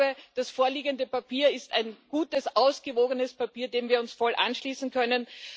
Ich glaube, dass das vorliegende Papier ein gutes, ausgewogenes Papier ist, dem wir uns voll anschließen können.